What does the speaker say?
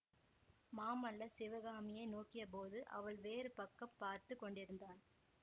மாமல்லர் சிவகாமியை நோக்கியபோது அவள் வேறு பக்கம் பார்த்து கொண்டிருந்தாள்